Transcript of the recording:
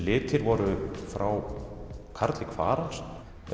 litir voru frá Karli Kvaran